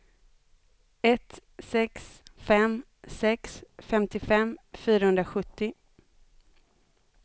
ett sex fem sex femtiofem fyrahundrasjuttio